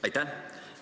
Aitäh!